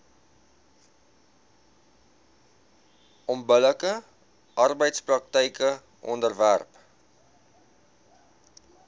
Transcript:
onbillike arbeidspraktyke onderwerp